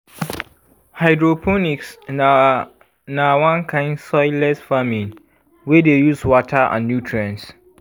hydroponics na na one kind soilless farming wey dey use water and nutrients